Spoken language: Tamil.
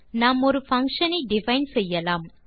நாம் ஒரு பங்ஷன் ஐ டிஃபைன் செய்யலாம்